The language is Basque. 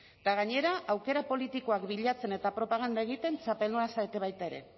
eta gainera aukera politikoak bilatzen eta propaganda egiten txapeldunak zarete baita ere